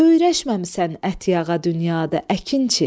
Öyrəşməmisən ət yağa dünyada, əkinçi.